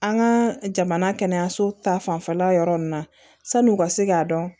An ka jamana kɛnɛyaso ta fanfɛla yɔrɔ ninnu na san'u ka se k'a dɔn